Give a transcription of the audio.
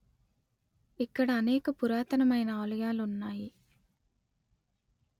ఇక్కడ అనేక పురాతనమైన ఆలయాలు ఉన్నాయి